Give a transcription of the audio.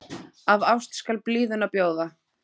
Af ást skal blíðuna bjóða.